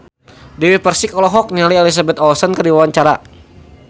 Dewi Persik olohok ningali Elizabeth Olsen keur diwawancara